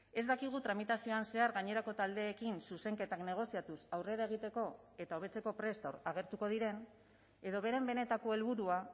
ez dakigu tramitazioan zehar gainerako taldeekin zuzenketak negoziatuz aurrera egiteko eta hobetzeko prest agertuko diren edo beren benetako helburua